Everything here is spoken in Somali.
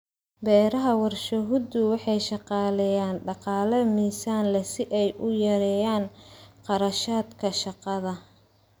Beeraha warshaduhu waxay shaqaaleeyaan dhaqaale miisaan leh si ay u yareeyaan kharashaadka shaqada.